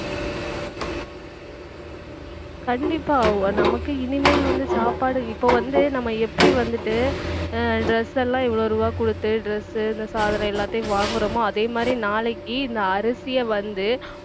கண்டிப்பா நமக்கு இனிமேல் வந்து சாப்பாடு இப்ப வந்து நம்ம எப்படி வந்துட்டு அஹ் dress லாம் இவ்வளவு ரூபாய் கொடுத்து dress இந்த சாதனம் எல்லாத்தையும் வாங்குறோமோ அதே மாதிரி நாளைக்கு இந்த அரிசியை வந்து